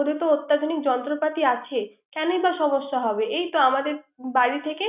ওদের তো অত্যাধুনিক যন্ত্রপাতি আছেই। কেনইবা সমস্যা হবে । এই তো আমাদের বাড়িতে